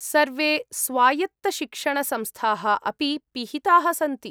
सर्वे स्वायत्तशिक्षणसंस्थाः अपि पिहिताः सन्ति।